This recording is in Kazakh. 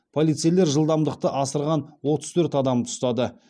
полицейлер жылдамдықты асырған отыз төрт адамды ұстады